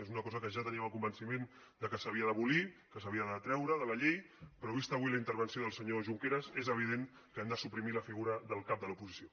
és una cosa que ja en teníem el convenciment que s’havia d’abolir que s’havia de treure de la llei però vista avui la intervenció del senyor junqueras és evident que hem de suprimir la figura del cap de l’oposició